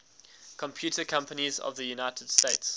computer companies of the united states